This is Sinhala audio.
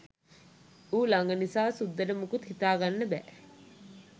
ඌ ළඟ නිසා සුද්දට මුකුත් හිතා ගන්න බැහැ